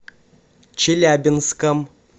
челябинском